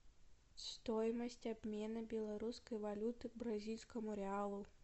стоимость обмена белорусской валюты к бразильскому реалу